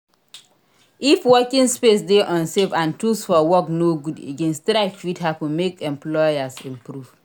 If working space de unsafe and tools for work no good again strike fit happen make employers improve